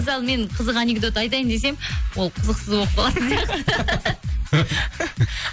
мысалы мен қызық анекдот айтайын десем ол қызықсық болып қалады